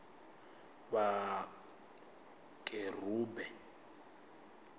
vhakerube